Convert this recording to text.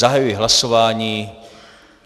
Zahajuji hlasování.